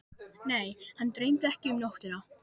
Nei, hann dreymdi ekkert um nóttina.